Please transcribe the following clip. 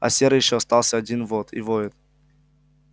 а серый ещё остался один вот и воет